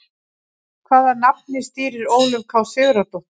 Hvaða safni stýrir Ólöf K Sigurðardóttir?